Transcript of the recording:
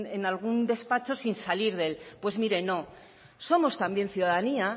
en algún despacho sin salir de él pues mire no somos también ciudadanía